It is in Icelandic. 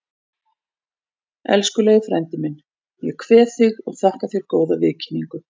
Elskulegi frændi minn, ég kveð þig og þakka þér góða viðkynningu.